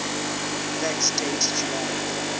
fact date july